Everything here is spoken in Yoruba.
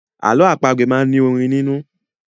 Àlọ́ àpagbè máa ń ní orin nínú.